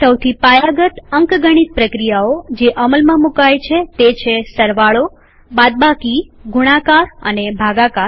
સૌથી પાયાગત અંકગણિત પ્રક્રિયાઓ જે અમલમાં મુકાય છે તે છે160 સરવાળોબાદબાકીગુણાકાર અને ભાગાકાર